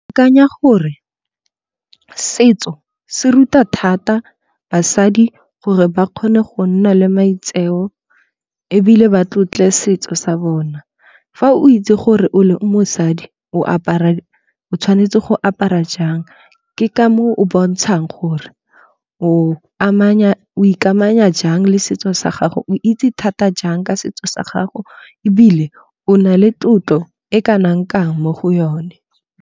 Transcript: Kanya gore setso se ruta thata basadi gore ba kgone go nna le maitseo ebile ba tlotle setso sa bona. Fa o itse gore o le mosadi o apara o tshwanetse go apara jang. Ke ka moo o bontshang gore o amanya o ikamanya jang le setso sa gago o itse thata jang ka setso sa gago ebile o nale tlotlo e kanang kang mo go yone.